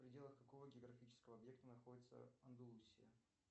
в пределах какого географического объекта находится андалусия